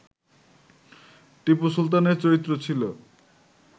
টিপু সুলতানের চরিত্র ছিল